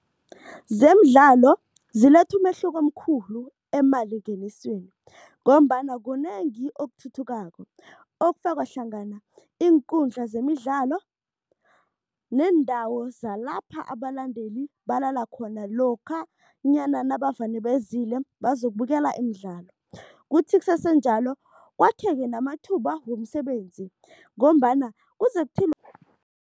Zemidlalo ziletha umehluko omkhulu emalingenisweni ngombana kunengi okuthuthukako, okufaka hlangana iinkundla zemidlalo neendawo zalapha abalandeli balala khona lokhanyana nabavane bezile bazokubukela imidlalo. Kuthi kusesenjalo kwakheke namathuba womsebenzi ngombana kuze